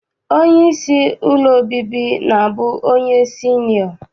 Onyeisi ụlọ obibi na-abụ onye sinịọ.